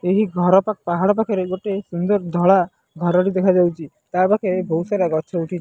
ଏହି ଘର ପା ପାହାଡ଼ ପାଖରେ ଗୋଟେ ସୁନ୍ଦର ଧଳା ଘର ଟି ଦେଖାଯାଉଚି ତା ପାଖେ ବୋହୁ ସାରା ଗଛ ଉଠିଚି।